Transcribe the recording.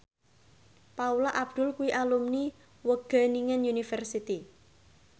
Paula Abdul kuwi alumni Wageningen University